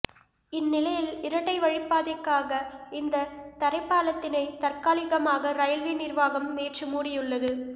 இந்நிலையில் இரட்டை வழிப்பாதைக்காக இந்த தரைபாலத்தினை தற்காலிகமாக ரயில்வே நிர்வாகம் நேற்று மூடியுள்ளது